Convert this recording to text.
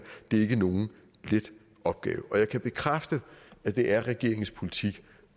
det er ikke nogen let opgave og jeg kan bekræfte at det er regeringens politik